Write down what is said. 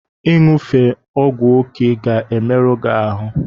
Ị ṅufe ọgwụ oke ga-emerụ gị ahụ.